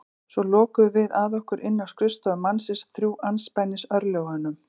Svo lokuðum við að okkur inni á skrifstofu mannsins, þrjú andspænis örlögunum.